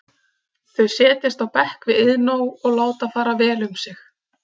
Þau setjast á bekk við Iðnó og láta fara vel um sig.